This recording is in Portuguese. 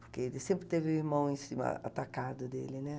Porque ele sempre teve o irmão em cima, atacado dele, né?